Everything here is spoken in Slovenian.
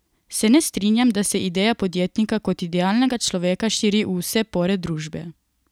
Se ne strinjam, da se ideja podjetnika kot idealnega človeka širi v vse pore družbe.